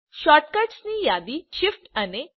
શૉર્ટકટ્સની યાદી શીફ્ટ અને160